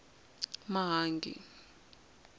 mahangi